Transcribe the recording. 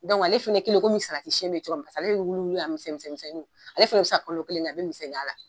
ale fana kɛlen komi bɛ cogoya min ale bɛ wuliwuli a misɛn misɛnninw ale fana bɛ se ka kolo kelen kɛ a bɛ misɛnninya la.